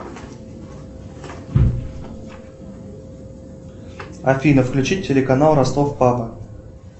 афина включи телеканал ростов папа